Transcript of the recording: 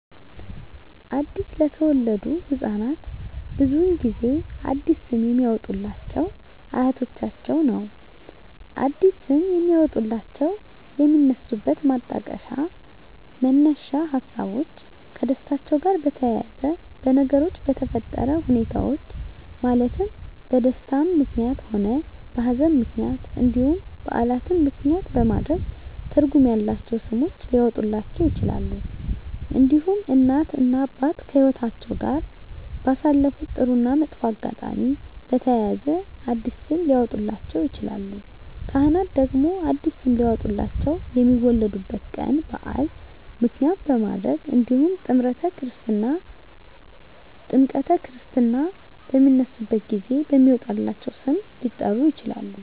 አዲስ ለተወለዱ ህፃናት ብዙውን ጊዜ አዲስ ስም የሚያወጡሏቸው አያቶቻቸውን ነው አዲስ ስም የሚያወጧላቸው የሚነሱበት ማጣቀሻ መነሻ ሀሳቦች ከደስታቸው ጋር በተያያዘ በነገሮች በተፈጠረ ሁኔታዎች ማለትም በደስታም ምክንያትም ሆነ በሀዘንም ምክንያት እንዲሁም በዓላትን ምክንያትም በማድረግ ትርጉም ያላቸው ስሞች ሊያወጡላቸው ይችላሉ። እንዲሁም እናት እና አባት ከህይወትአቸው ጋር ባሳለፉት ጥሩ እና መጥፎ አጋጣሚ በተያያዘ አዲስ ስም ሊያወጡላቸው ይችላሉ። ካህናት ደግሞ አዲስ ስም ሊያወጡላቸው የሚወለዱበት ቀን በዓል ምክንያት በማድረግ እንዲሁም ጥምረተ ክርስትና በሚነሱበት ጊዜ በሚወጣላቸው ስም ሊጠሩ ይችላሉ።